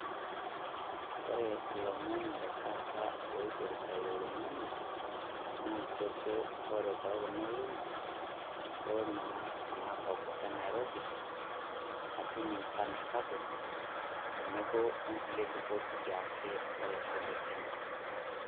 Kore ilomon le taata oipirita oloing'ang'e, naa kejo ore too kuna olong'oni, kore anaa ena kop eNairobi, ketum nchan sapuk, tenebo o nkulie lubot siake eKenya.